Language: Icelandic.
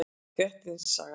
Grettis saga.